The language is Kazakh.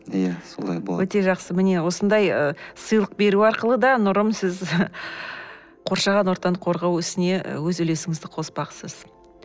иә солай болады өте жақсы міне осындай ы сыйлық беру арқылы да нұрым сіз қоршаған ортаны қорғау ісіне өз үлесіңізді қоспақсыз